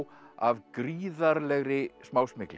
af gríðarlegri